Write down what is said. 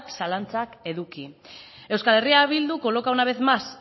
zalantzak eduki euskal herria bildu coloca un vez más